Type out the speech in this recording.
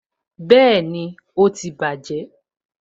Bẹẹni, ó ti bàjé